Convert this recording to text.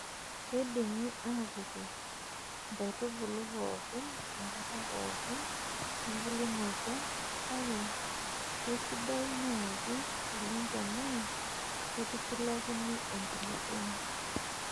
Keidimi atipik nkaitubulu pooki tenkata pookin embulunoto, kake keisidai naaji oleng' tenaa keitushulakini enkulupuoni.